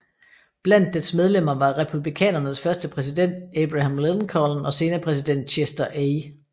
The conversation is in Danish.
Blandt dets medlemmer var republikanernes første præsident Abraham Lincoln og senere præsident Chester A